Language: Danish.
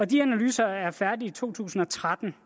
de analyser er færdige i to tusind og tretten